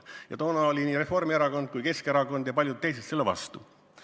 Ja toona oli nii Reformierakond kui ka Keskerakond ja paljud teisedki selle vastu.